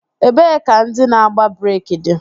Ebee ka ndị na-agba breeki dị?